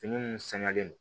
Fini minnu sɛngɛnnen don